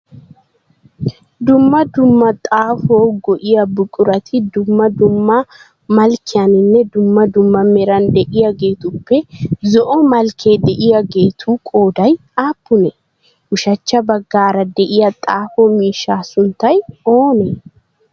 Dumma dumma xaafuwawu go"iyaa buqurati dumma dumma malkkiyaninne dumma dumma meran de"iyageetuppe zo"o malkkee diyoogeetu qooday aappunee? Ushachcha baggaara de'iyaa xaafo miishshaa sunttay oonee?